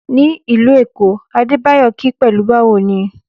Ní ìlú Èkó, Adebayo kí pẹ̀lú Báwo ni?